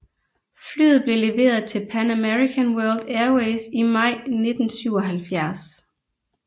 Flyet blev leveret til Pan American World Airways i maj 1977